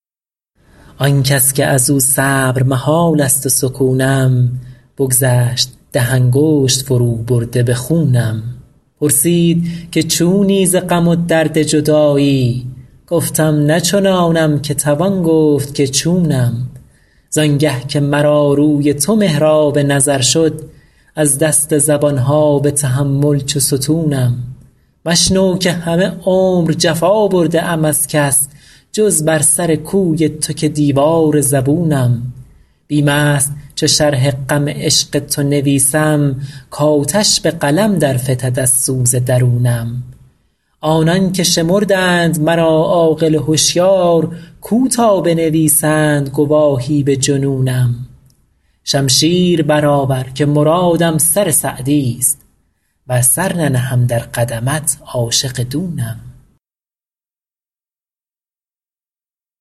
آن کس که از او صبر محال است و سکونم بگذشت ده انگشت فروبرده به خونم پرسید که چونی ز غم و درد جدایی گفتم نه چنانم که توان گفت که چونم زان گه که مرا روی تو محراب نظر شد از دست زبان ها به تحمل چو ستونم مشنو که همه عمر جفا برده ام از کس جز بر سر کوی تو که دیوار زبونم بیم است چو شرح غم عشق تو نویسم کآتش به قلم در فتد از سوز درونم آنان که شمردند مرا عاقل و هشیار کو تا بنویسند گواهی به جنونم شمشیر برآور که مرادم سر سعدیست ور سر ننهم در قدمت عاشق دونم